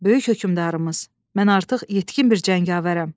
Böyük hökmdarımız, mən artıq yetkin bir cəngavərəm.